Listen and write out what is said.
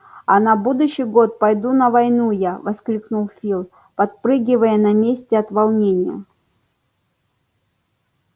а на будущий год пойду на войну я воскликнул фил подпрыгивая на месте от волнения